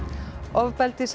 ofbeldi sem